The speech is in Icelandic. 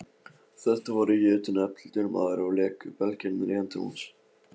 Þetta var jötunefldur maður og léku belgirnir í höndum hans.